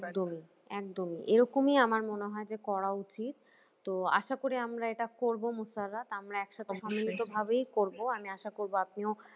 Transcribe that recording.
একদমই একদমই এরকমই আমার মনে হয় যে করা উচিত তো আশা করি আমরা এটা করব আমরা একসাথে আমি আশা করব আপনিও